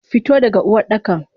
Fito daga Uwardakan!